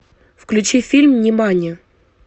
включи фильм внимание